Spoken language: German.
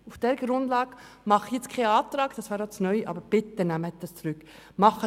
Auf dieser neuen Grundlage formuliere ich jetzt keinen Antrag, aber ich bitte Sie, den Antrag zurückzunehmen.